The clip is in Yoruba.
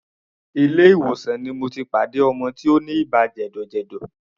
Ilé ìwòsàn ni mo ti pàdé ọmọ tí ó ní ibà jẹ̀dọ̀jẹ̀dọ̀.